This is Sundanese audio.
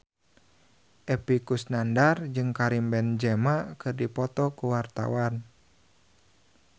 Epy Kusnandar jeung Karim Benzema keur dipoto ku wartawan